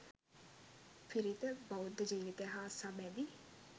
පිරිත; බෞද්ධ ජීවිතය හා සබැඳි